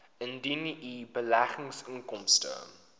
indien u beleggingsinkomste